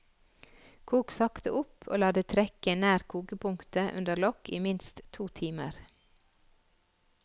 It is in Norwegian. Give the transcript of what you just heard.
Kok sakte opp og la det trekke nær kokepunktet under lokk i minst to timer.